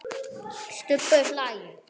Stubbur hlær.